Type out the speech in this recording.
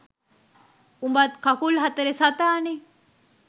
උඹත් කකුල් හතරෙ සතානේ